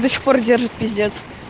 до сих пор держит пиздец